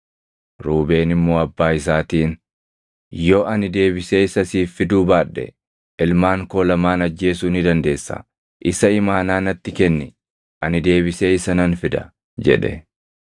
Ruubeen immoo abbaa isaatiin, “Yoo ani deebisee isa siif fiduu baadhe ilmaan koo lamaan ajjeesuu ni dandeessa; isa imaanaa natti kenni; ani deebisee isa nan fida” jedhe.